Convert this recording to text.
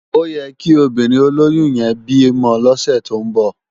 Óyèkí óbìrín ólóyùn yèn bi mò lòsè tó n bò